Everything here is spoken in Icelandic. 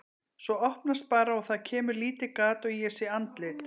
Svo opnast bara og það kemur lítið gat og ég sé andlit.